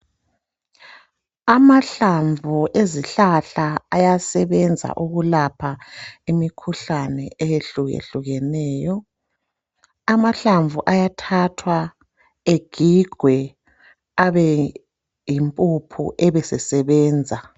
Amahlamvu ezihlahla ayasebenza ukulapha imikhuhlane eyehlukehlukeneyo amahlamvu ayathathwa egigwe abeyimpuphu abe esesebenza.